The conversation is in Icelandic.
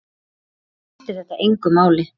Þá skiptir þetta engu máli.